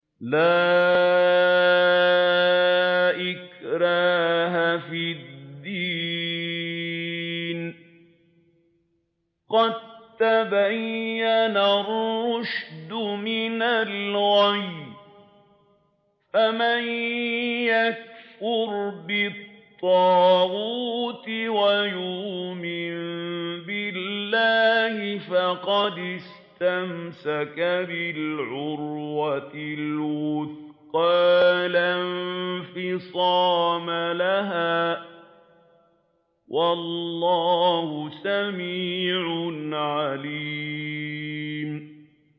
لَا إِكْرَاهَ فِي الدِّينِ ۖ قَد تَّبَيَّنَ الرُّشْدُ مِنَ الْغَيِّ ۚ فَمَن يَكْفُرْ بِالطَّاغُوتِ وَيُؤْمِن بِاللَّهِ فَقَدِ اسْتَمْسَكَ بِالْعُرْوَةِ الْوُثْقَىٰ لَا انفِصَامَ لَهَا ۗ وَاللَّهُ سَمِيعٌ عَلِيمٌ